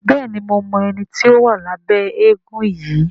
Béèni mo mọ ẹní tí o wa Labe éégun yí.